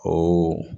O